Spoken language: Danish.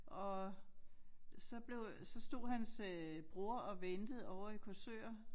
Og så blev så stod hans øh bror og ventede ovre i Korsør